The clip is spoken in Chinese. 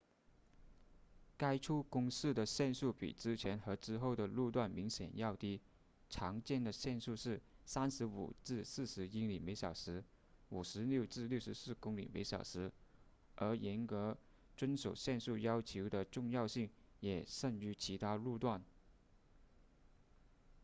该处公示的限速比之前和之后的路段明显要低常见的限速是 35-40 英里小时 56-64 公里小时而严格遵守限速要求的重要性也甚于其他路段